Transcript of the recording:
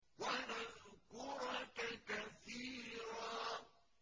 وَنَذْكُرَكَ كَثِيرًا